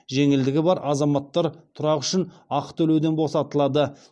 жеңілдігі бар азаматтар тұрақ үшін ақы төлеуден босатылады